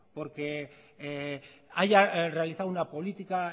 porque haya realizado una política